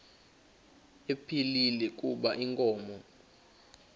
ephilile kuba inkomo